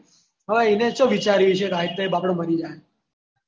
હા એનો તો વિચારેયો છે આય્તે અપ્પને મરી જયીયે